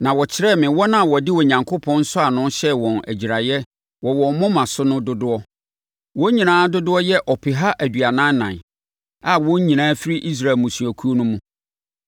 Na wɔkyerɛɛ me wɔn a wɔde Onyankopɔn nsɔano hyɛɛ wɔn agyiraeɛ wɔ wɔn moma so no dodoɔ. Wɔn nyinaa dodoɔ yɛ ɔpeha aduanan ɛnan, a wɔn nyinaa firi Israel mmusuakuo no mu.